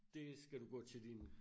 Det skal du gå til din